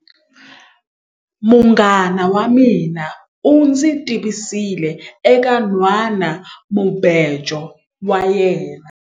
Munghana wa mina u ndzi tivisile eka nhwanamubejo wa yena.